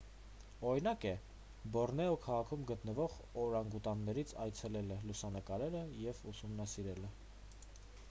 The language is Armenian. օրինակ է բորնեո քաղաքում գտնվող օրանգուտաններին այցելելը լուսանկարելը և ուսումնասիրելը